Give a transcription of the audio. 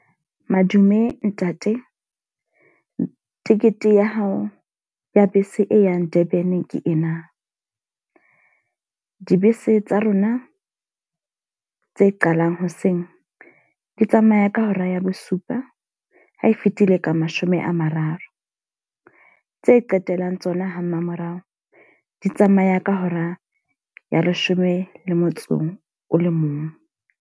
Madume ntate, ticket ya hao ya bese e yang Durban ke ena. Dibese tsa rona tse qalang hoseng. Di tsamaya ka hora ya bosupa ha e fitile ka mashome a mararo. Tse qetellang tsona ha mmamorao, di tsamaya ka hora ya leshome le motso o le mong.